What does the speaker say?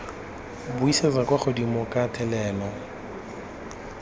buisetsa kwa godimo ka thelelo